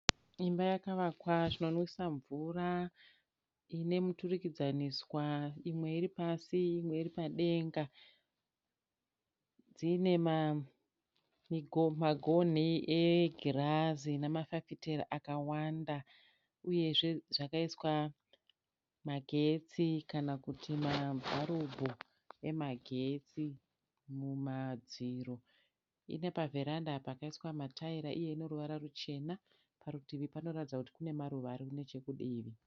Imba yakavakawa zvakanaka inomwisa mvura inemiturugidzaniswa imwe iripasi imwe iripadenga. Inemagoni egirazi nemafaitera kawanda ,uyezve zvakaiswa magetsi kana kuti mabharubhu emagetsi mumadziro. Inepaveranda pakaiswamatairizi eruvara ruchena uyezve parutivi kunoratidza kuti panemaruva arinechekudivi.